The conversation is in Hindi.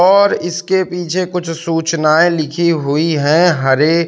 और इसके पीछे कुछ सूचनाएं लिखी हुई हैं हरे--